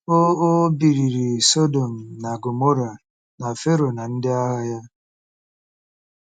O O bibiri Sọdọm na Gọmọra na Fero na ndị agha ya.